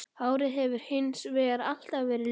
Hárið hefur hins vegar alltaf verið liðað.